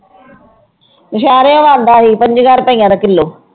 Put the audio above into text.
ਸ਼ਹਿਰੋ ਆਉਂਦਾ ਸੀ ਪੰਜੀਆਂ ਰੁਪਈਆਂ ਦਾ ਕਿੱਲੋ।